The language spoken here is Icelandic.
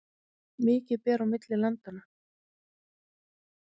Mikið ber á milli landanna